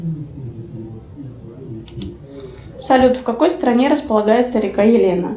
салют в какой стране располагается река елена